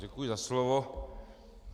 Děkuji za slovo.